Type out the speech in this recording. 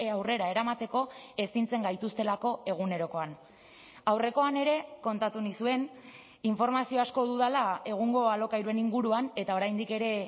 aurrera eramateko ezintzen gaituztelako egunerokoan aurrekoan ere kontatu nizuen informazio asko dudala egungo alokairuen inguruan eta oraindik ere